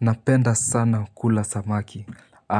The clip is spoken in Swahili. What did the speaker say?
Napenda sana kula samaki